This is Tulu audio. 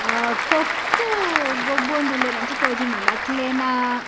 ಅಹ್ ಕೊಕ್ಕೊ ಗೊಬ್ಬೋಂದುಲ್ಲೇರ್‌ ಅಂಚೆ ತೋಜೋಂದುಂಡು ಅಕ್ಕ್ಲೆನ --